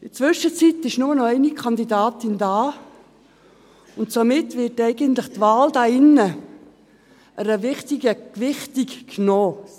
In der Zwischenzeit ist nur noch eine Kandidatin da, und somit wird eigentlich der Wahl hier im Grossen Rat eine wichtige Gewichtung genommen.